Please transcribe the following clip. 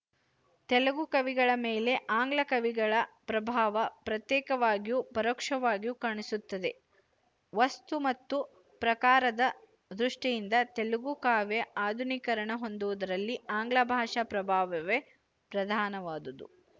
ತೆಲುಗು ಕವಿಗಳ ಮೇಲೆ ಆಂಗ್ಲಕವಿಗಳ ಪ್ರಭಾವ ಪ್ರತ್ಯೇಕವಾಗಿಯೂ ಪರೋಕ್ಷವಾಗಿಯೂ ಕಾಣಿಸುತ್ತದೆ ವಸ್ತು ಮತ್ತು ಪ್ರಕಾರದ ದೃಷ್ಟಿಯಿಂದ ತೆಲುಗು ಕಾವ್ಯ ಆಧುನೀಕರಣ ಹೊಂದುವುದರಲ್ಲಿ ಆಂಗ್ಲಭಾಷಾ ಪ್ರಭಾವವೇ ಪ್ರಧಾನವಾದುದು